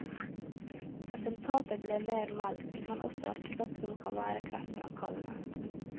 Resultatet ble mer melk, men også et stoff som kan være kreftfremkallende.